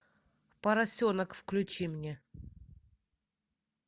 поросенок включи мне